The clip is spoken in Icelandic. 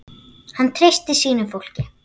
Hann treysti sínu fólki.